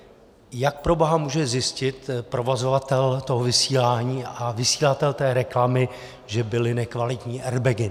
Jak proboha může zjistit provozovatel toho vysílání a vysílatel té reklamy, že byly nekvalitní airbagy?